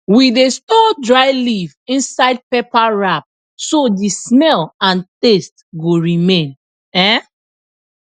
we dey store dry leaf inside paper wrap so the smell and taste go remain um